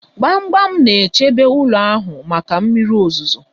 Gbamgbam na-echebe ụlọ ahụ maka mmiri ozuzo